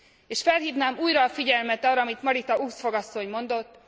És felhívnám újra a figyelmet arra, amit Marita Ulvskog asszony mondott.